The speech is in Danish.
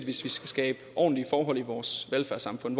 hvis vi skal skabe ordentlige forhold i vores velfærdssamfund